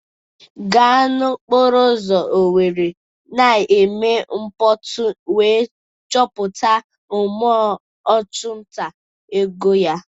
Gaa n'okporo ụzọ Owerri na-eme mkpọtụ wee chọpụta mmụọ ọchụnta ego ya.